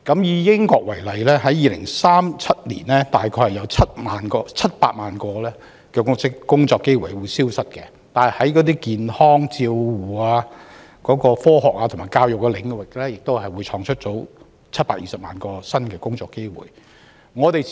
以英國為例 ，2037 年大概會有700萬個工作機會消失，但在健康照護、科學及教育領域會創造出720萬個新的工作機會。